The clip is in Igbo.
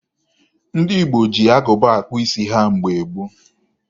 Ndị Igbo ji agụba akpụ isi ha mgbe gboo.